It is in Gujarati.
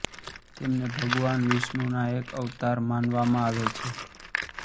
તેમને ભગવાન વિષ્ણુના એક અવતાર માનવામાં આવે છે